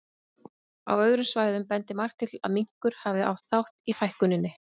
Á öðrum svæðum bendir margt til þess að minkur hafi átt þátt í fækkuninni.